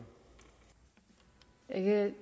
at